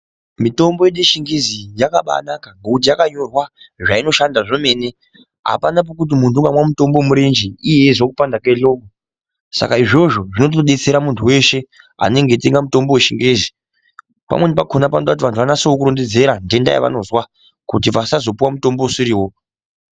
Mitombo yedu yechingezi iyi yakabaanaka ngekuti yakanyorwa zvainoshanda zvemene. Apana pekuti muntu unganwa mutombo wemurenje iye eizwa kupanda kwehloko. Saka izvozvo zvinotodetsera muntu weshe anenge eitenga mutombo wechingezi. Pamweni pakhona panda kuti vantu varondedzere nhenda yevanozwa kuti vasazopuwa mutombo usiriwo.